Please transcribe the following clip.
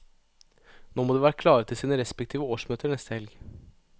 Nå må de være klare til sine respektive årsmøter neste helg.